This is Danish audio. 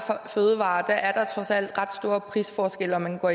fødevarer er der trods alt ret store prisforskelle om man går